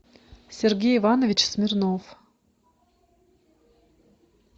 сергей иванович смирнов